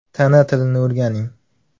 Tana tilini o‘rganing!.